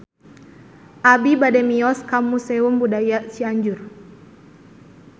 Abi bade mios ka Museum Budaya Cianjur